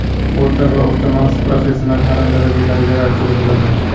o‘rta va o‘rta maxsus professional ta’lim darajalariga ajratiladi.